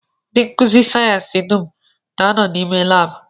Ndị nkụzi sayensị dum na-anọ n'ime laabụ